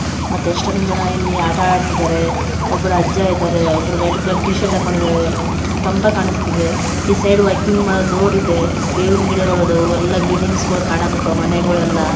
ಮತ್ತೆ ಎಷ್ಟೋ ಜನ ಇಲ್ಲಿ ಆಟ ಆಡ್ತಿದಾರೆ ಒಬ್ಬರು ಅಜ್ಜ ಎದರೆ ಒಬ್ಬರೋ ರೆಡ್ ಕಲರ್ ಟಿ ಶರ್ಟ್ ಹಾಕೊಂಡಿದರೆ ಕಂಬ ಕಾಣುಸ್ತಿದೆ ಈ ಸೈಡ್ ವಾಕಿಂಗ್ ಮಾಡೋ ರೋಡ್ ಇದೆ ಬೇಲಿವಿನ್ ಗಿಡಗಳಾದವು ಒಲ್ಲ ಬಿಲ್ಡಿಂಗ್ಸ್ ಕಾನ್ಕಟ್ಟವು ಮನೆಗಳೆಲ್ಲ.